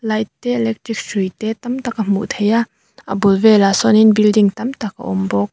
te electric hrui te tam tak a hmuh theih a a bul velah sawnin building tam tak a awm bawk.